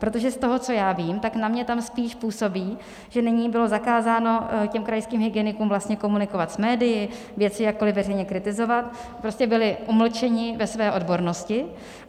Protože z toho, co já vím, tak na mě tam spíš působí, že nyní bylo zakázáno těm krajským hygienikům vlastně komunikovat s médii, věci jakkoli veřejně kritizovat, prostě byli umlčeni ve své odbornosti.